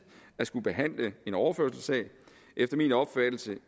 at skulle behandle en overførselssag efter min opfattelse